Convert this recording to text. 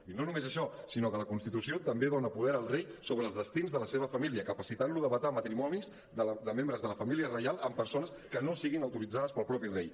i no només això sinó que la constitució també dona poder al rei sobre els destins de la seva família capacitant lo de vetar matrimonis de membres de la família reial amb persones que no siguin autoritzades pel mateix rei